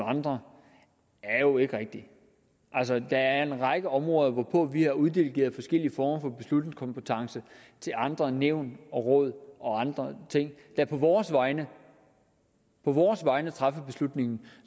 andre er jo ikke rigtig altså der er en række områder hvorpå vi har uddelegeret forskellige former for beslutningskompetence til andre nævn og råd og andre ting der på vores vegne vores vegne træffer beslutningen